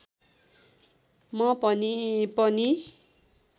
म पनि